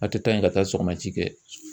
A tɛ taa yen ka taa sɔgɔma ci kɛ